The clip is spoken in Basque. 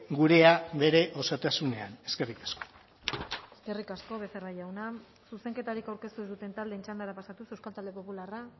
gurea bere osotasunean eskerrik asko eskerrik asko becerra jauna zuzenketarik aurkeztu ez duten taldeen txandara pasatuz euskal talde popularra